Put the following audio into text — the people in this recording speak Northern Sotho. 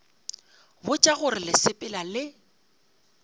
botša gore le sepela le